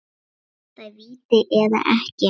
Var þetta víti eða ekki?